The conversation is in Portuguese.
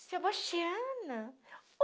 Sebastiana